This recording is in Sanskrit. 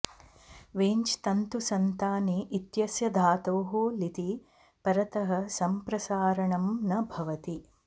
वेञ् तन्तुसन्ताने इत्यस्य धातोः लिति परतः सम्प्रसारणं न भवति